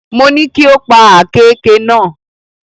Mo ní kí o pa àkééke náà.